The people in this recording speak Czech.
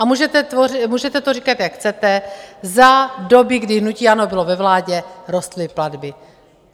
A můžete to říkat, jak chcete, za doby, kdy hnutí ANO bylo ve vládě, rostly platby.